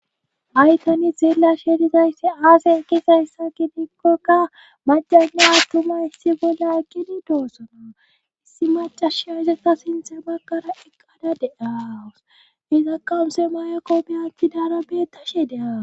Ha7i tani xeelashe dizayssi aase eqizayssa gidikokka macana attuma issi bolla eqidi doossona issi macasha isaka sinthe bakkara eqqada deawus iza qamuse mayekko biyanthi daara betashe de7awus.